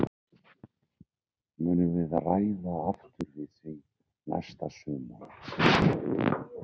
Munum við ræða aftur við því næsta sumar?